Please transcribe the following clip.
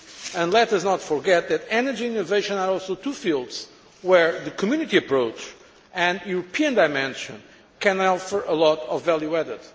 And let us not forget that energy and innovation are also two fields where the Community approach and European dimension can offer a lot of value added.